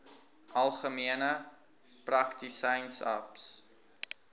algemene praktisyns aps